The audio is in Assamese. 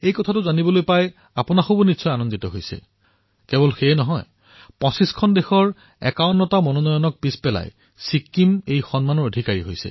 এয়াই নহয় আমাৰ ছিক্কিমে ২৫খন দেশৰ ৫১টা মনোনীত নীতিক পিছ পেলাই এই বঁটা লাভ কৰিছে